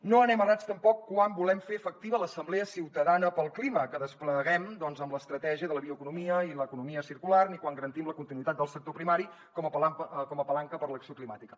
no anem errats tampoc quan volem fer efectiva l’assemblea ciutadana pel clima que despleguem doncs amb l’estratègia de la bioeconomia i l’economia circular ni quan garantim la continuïtat del sector primari com a palanca per a l’acció climàtica